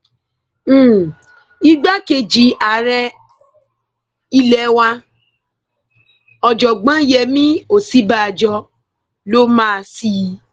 um igbákejì ààrẹ ilé wa ọjọgbọn yemí òsínbàjò um ló máa ṣí i